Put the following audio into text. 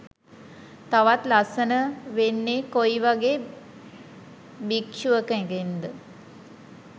තවත් ලස්සන වෙන්නෙ කොයි වගේ භික්ෂුවකගෙන් ද?